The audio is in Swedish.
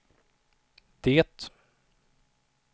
det